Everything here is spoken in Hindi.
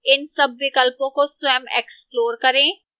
इन सब विकल्पों को स्वयं explore करें